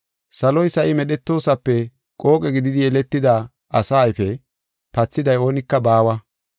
Saloy sa7i medhetoosape qooqe gididi yeletida asa ayfe pathiday oonika baawa.